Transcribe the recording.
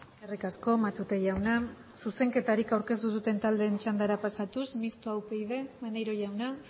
eskerrik asko matute jauna zuzenketari aurkeztu duten taldeen txandara pasatuz mistoa upyd maneiro jauna